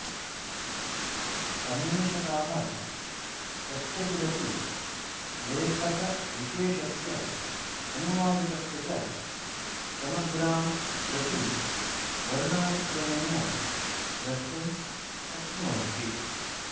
अन्वेषकाः कस्यचिदपि लेखकविशेषस्य अनुवादकस्य च समग्रां कृतिं वर्णानुक्रमेण द्रष्टुं शक्नुवन्ति